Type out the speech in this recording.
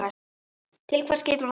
Til hvers getur það leitt?